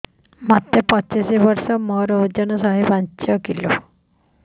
ମୋତେ ପଚିଶି ବର୍ଷ ମୋର ଓଜନ ଶହେ ପାଞ୍ଚ କିଲୋ